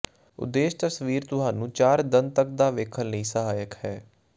ਉਦੇਸ਼ ਤਸਵੀਰ ਤੁਹਾਨੂੰ ਚਾਰ ਦੰਦ ਤੱਕ ਦਾ ਵੇਖਣ ਲਈ ਸਹਾਇਕ ਹੈ